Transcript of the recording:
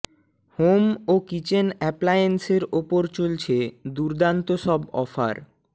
home ও kitchen অ্যাপ্লায়েন্সের ওপর চলছে দুর্দান্ত সব অফার